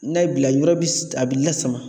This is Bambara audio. N'a y'i bila, yɔrɔ bi a bi lasama.